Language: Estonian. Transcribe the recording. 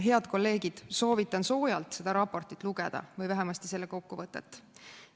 Head kolleegid, soovitan soojalt seda raportit või vähemasti selle kokkuvõtet lugeda.